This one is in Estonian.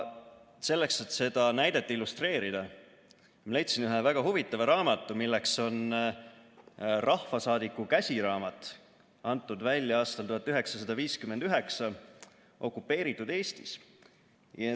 Selleks, et seda näidet illustreerida, leidsin ühe väga huvitava raamatu, milleks on "Rahvasaadiku käsiraamat", mis on antud välja aastal 1959 okupeeritud Eestis.